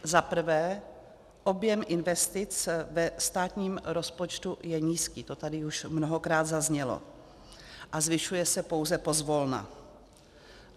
Za prvé, objem investic ve státním rozpočtu je nízký, to tady už mnohokrát zaznělo, a zvyšuje se pouze pozvolna.